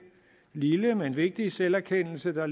lille men vigtige selverkendelse af